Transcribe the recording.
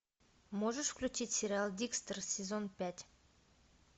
можешь включить сериал декстер сезон пять